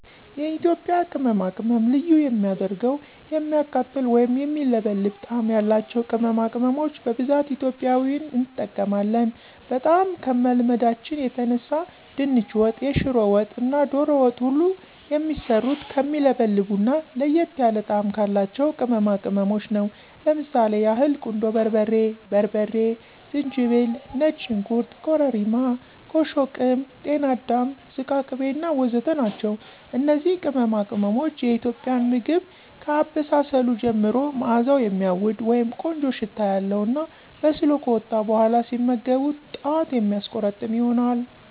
የኢትዬጵያ ቅመማቅመም ልዩ የሚያደርገዉ የሚያቃጥል ወይም የሚለበልብ ጣም ያላቸዉ ቅመማቅመሞች በብዛት ኢትዬጵያዊን እንጠቀማለን። በጣም ከመልመዳችን የተነሳ ድንች ወጥ፣ የሽሮ ወጥ እና ዶሮ ወጥ ሁሉ የሚሰሩት ከሚለበልቡ እና ለየት ያለ ጣም ካላቸው ቅመማቅመሞች ነው። ለምሳሌ ያህል ቁንዶ በርበሬ፣ በርበሬ፣ ዝንጅብል፣ ነጭ ሽንኩርት፣ ኮርሪማ፣ ኮሾ ቅም፣ ጤና አዳም ዝቃቅቤ እና ወዘተ ናቸው። እነዚህ ቅመማቅሞች የኢትዬጵያን ምግብ ከአበሳሰሉ ጀምሮ ማእዛዉ የሚያዉድ (ቆንጆ ሽታ) ያለዉ እና በስሎ ከወጣ በኋላ ሲመገቡት ጣት የሚያስቆረጥም ይሆናል።